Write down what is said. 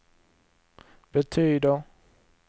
betyder